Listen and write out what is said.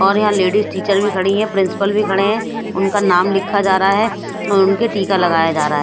और यहां ladies teacher भी खड़ी हैं प्रिंसिपल भी खड़े हैं उनका नाम लिखा जा रहा है और उनके टीका लगाया जा रहा है।